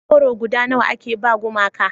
goro guda nawa a ke ba gumaka